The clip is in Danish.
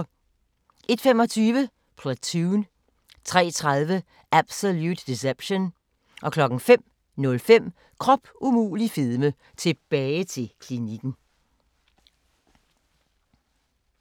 01:25: Platoon 03:30: Absolute Deception 05:05: Krop umulig fedme - tilbage til klinikken